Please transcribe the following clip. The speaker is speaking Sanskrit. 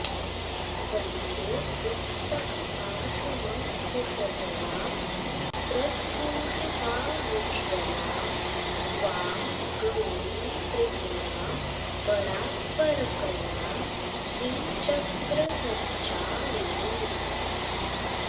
वन्दे पुस्तकपाशमङ्कुशधरां स्रग्भूषितामुज्ज्वलां त्वां गौरीं त्रिपुरां परात्परकलां श्रीचक्रसञ्चारिणीम्